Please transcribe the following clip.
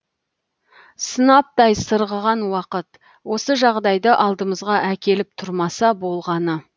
сынаптай сырғыған уақыт осы жағдайды алдымызға әкеліп тұрмаса болғаны